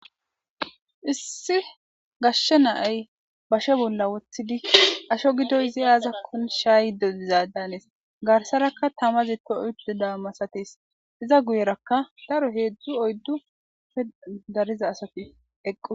Issi gashshe naay bashe bolla wothidi asho gidoy izi aazakkon shaaydodizaadanes garsarakka tamazi to oyddu daammasatis iza guyerakka daro heedzdu oyddu pe dariza asati eqqu.